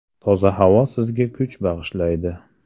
Toza havo sizga kuch bag‘ishlaydi.